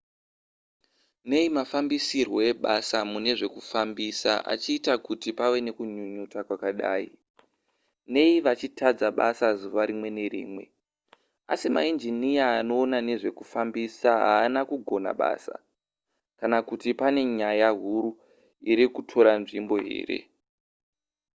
nei mafambisirwo ebasa mune zvekufambisa achiita kuti pave nekunyunyuta kwakadai nei vachitadza basa zuva rimwe nerimwe asi mainjiniya anoona nezve zvokufambisa haasi kugona basa kana kuti pane nyaya huru iri kutora nzvimbo here